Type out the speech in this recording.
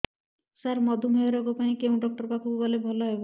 ସାର ମଧୁମେହ ରୋଗ ପାଇଁ କେଉଁ ଡକ୍ଟର ପାଖକୁ ଗଲେ ଭଲ ହେବ